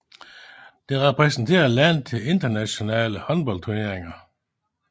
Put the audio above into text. Det repræsenterer landet i internationale håndboldturneringer